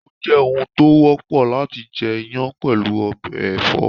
Ó jẹ́ oun tó wọ́pọ̀ láti jẹ iyán pẹ̀lú ọbẹ̀ ẹ̀fọ́